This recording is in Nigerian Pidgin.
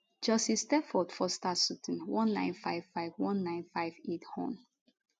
justice stafford foster sutton 19551958 hon